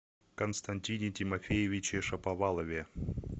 константине тимофеевиче шаповалове